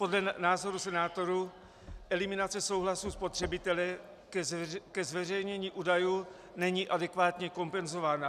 Podle názoru senátorů eliminace souhlasu spotřebitele ke zveřejnění údajů není adekvátně kompenzována.